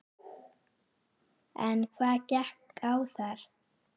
En hvað gekk á þar?